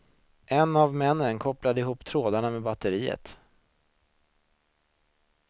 En av männen kopplade ihop trådarna med batteriet.